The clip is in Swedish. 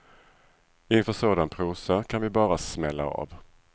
Inför sådan prosa kan vi bara smälla av.